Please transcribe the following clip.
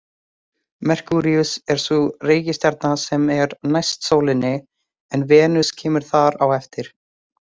Merkúríus er sú reikistjarna sem er næst sólinni en Venus kemur þar á eftir.